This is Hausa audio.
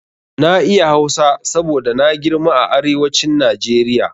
Na iya Hausa saboda na girma a arewacin Najeriya.